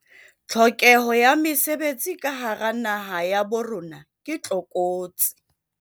Tlhokeho ya mesebetsi ka hara naha ya bo rona ke tlokotsi.